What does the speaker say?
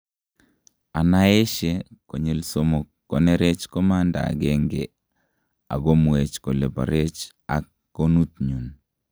anaaeshe konyil somok, kanerech komanda agenge ak komuech kole parech ak gonuutnyun